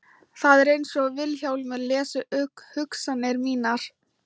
Það er einsog Vilhjálmur lesi hugsanir mínar.